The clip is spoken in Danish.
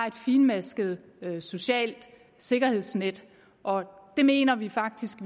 et finmasket socialt sikkerhedsnet og det mener vi faktisk